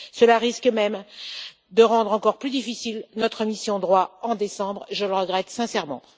Cela risque même de rendre encore plus difficile notre mission droits en décembre. Je le regrette sincèrement.